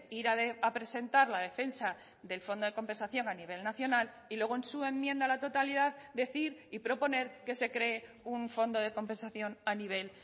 ir a presentar la defensa del fondo de compensación a nivel nacional y luego en su enmienda a la totalidad decir y proponer que se cree un fondo de compensación a nivel